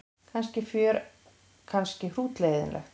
Kannski fjör kannski hrútleiðinlegt.